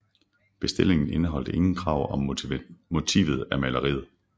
Bestillingen indeholdt ingen krav om motivet af maleriet